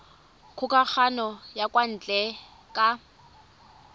kgokagano ya kwa ntle ka